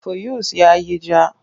Fuyus ya yi ja.